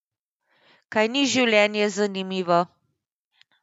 Kaj ni življenje zanimivo?